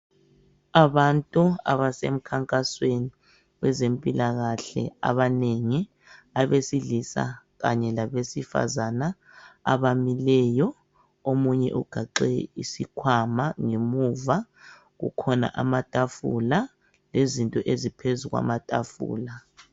Abantu abasemkhankwasweni wezempilakahle abanengi abesilisa kanye labesifazana abamileyo omunye ugaxe isikhwama ngemuva kukhona amatafula lezinto eziphezu kwamatafula